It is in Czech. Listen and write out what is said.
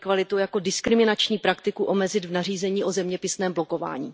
dvojí kvalitu jako diskriminační praktiku omezit v nařízení o zeměpisném blokování.